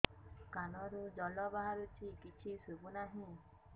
କାନରୁ ଜଳ ବାହାରୁଛି କିଛି ଶୁଭୁ ନାହିଁ